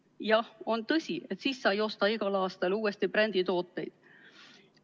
Jah, on tõsi, et siis sa ei osta igal aastal uuesti bränditooteid.